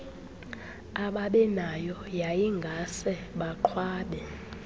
ababenayo yayingase baqhwabe